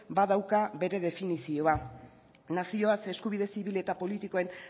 badauka bere definizioa nazioaz eskubide zibil eta politikoen